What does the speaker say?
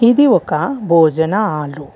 ఇది ఒక భోజనం హాలు.